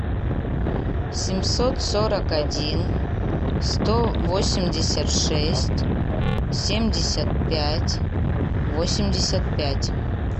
семьсот сорок один сто восемьдесят шесть семьдесят пять восемьдесят пять